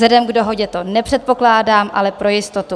Vzhledem k dohodě to nepředpokládám, ale pro jistotou.